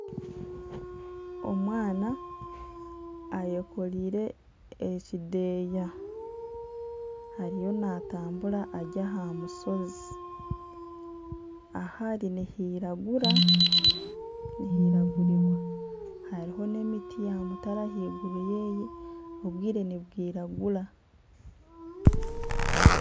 Omwana ayekoreire ekideeya, ariyo naatambura ari aha mushozi. Ahu ari nihiragura, nihiragurirwa. Hariho n'emiti ya mutare ahaiguru ye, obwire ni bwiragura.